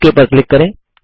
okay पर click करें